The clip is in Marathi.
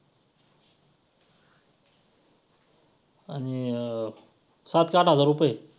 आणि~ सात का आठ हजार रुपये.